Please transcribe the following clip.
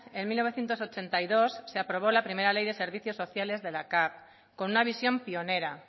en mil novecientos ochenta y dos se aprobó la primera ley de servicios sociales de la cav con una visión pionera